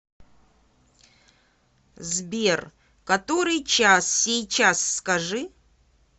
сбер который час сейчас скажи